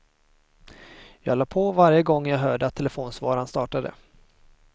Jag la på varje gång jag hörde att telefonsvararen startade.